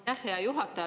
Hea juhataja!